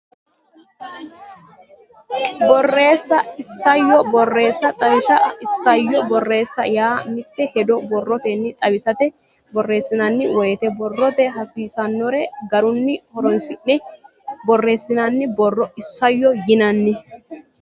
Borreessa Isayyo Borreessa Xawishsha Isayyo borreessa yaa mitte hedo borrotenni xawisate borreessinanni woyte borrote hasiisannore garunni horoonsi ne borreessinanni borro isayyo yinanni.